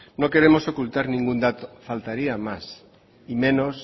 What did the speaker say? no queremos ocultar ningún dato faltaría más y menos